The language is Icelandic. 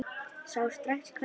Sá strax hvernig landið lá.